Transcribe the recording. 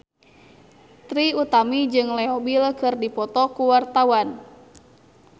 Trie Utami jeung Leo Bill keur dipoto ku wartawan